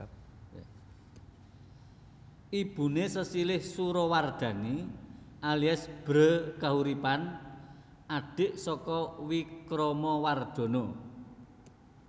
Ibuné sesilih Surawardhani alias Bhre Kahuripan adhik saka Wikramawardhana